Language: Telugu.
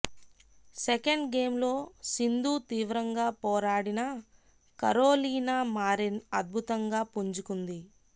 సెకండ్ గేమ్ లో సింధూ తీవ్రంగా పోరాడినా కరోలినా మారిన్ అద్భుతంగా పుంజుకుంది